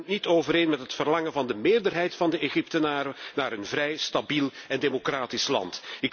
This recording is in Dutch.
Het stemt niet overeen met het verlangen van de meerderheid van de Egyptenaren naar een vrij, stabiel en democratisch land.